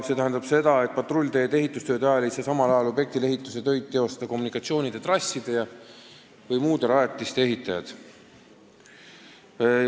See tähendab seda, et patrullteede ehitamise ajal ei saa samal ajal objektil tegutseda kommunikatsioonitrasside või muude rajatiste ehitajad.